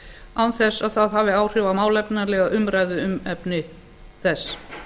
án þess að það hafi áhrif á málefnalega umræðu um efni þess